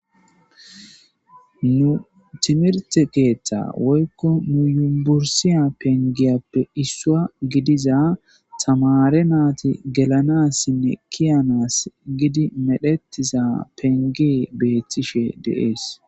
Nu timirte keeththa woykko nuyumbursiya pengeyappe issua gidiza tamare naati gelanassinne kiyanas gidi medhettiza pengee beeththishe deees.